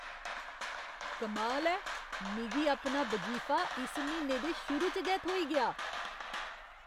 कमाल ऐ! मिगी अपना वजीफा इस म्हीने दे शुरू च गै थ्होई गेआ!